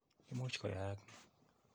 Imuch koyaak ni.